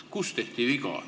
Kus tehti viga?